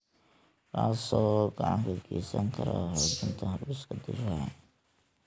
kaas oo gacan ka geysan kara xoojinta habdhiska difaaca.